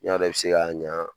N'i y'a dɔn i bɛ se k'a ɲa